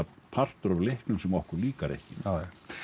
partur af leiknum sem okkur líkar ekki já